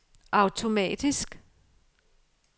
automatisk